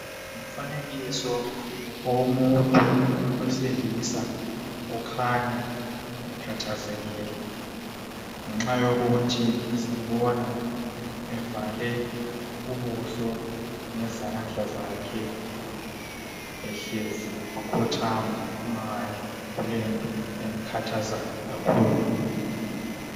Umfanekiso owomuntu wesilisa ukhanya ekhathazekile ngenxa yokuthi simbona evale ubuso ngezandla zakhe ehlezi wakhothama wangani kulento emkhathazayo kakhulu.